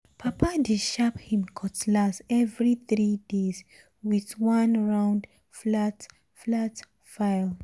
papa dey sharp him cutlass every three days with one round flat flat file.